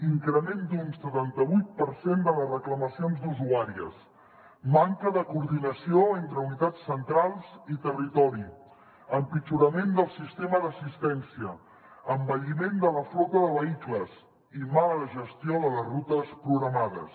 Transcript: increment d’un setanta vuit per cent de les reclamacions d’usuàries manca de coordinació entre unitats centrals i territori empitjorament del sistema d’assistència envelliment de la flota de vehicles i mala gestió de les rutes programades